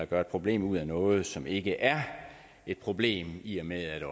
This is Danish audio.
gøre et problem ud af noget som ikke er et problem i og med at